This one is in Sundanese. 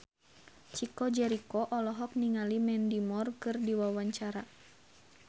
Chico Jericho olohok ningali Mandy Moore keur diwawancara